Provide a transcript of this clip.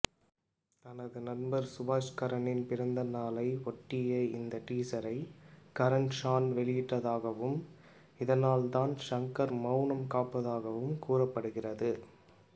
தனது நண்பர் சுபாஷ்கரனின் பிறந்த நாளை ஒட்டியே இந்த டீசரை கரன்ஷான் வெளியிட்டதாகவும் இதனால்தான் ஷங்கர் மெளனம் காப்பதாகவும் கூறப்படுகிறது